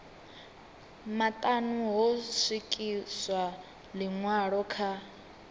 maṱanu ho swikiswa ḽiṅwalo kha